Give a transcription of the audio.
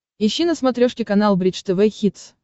ищи на смотрешке канал бридж тв хитс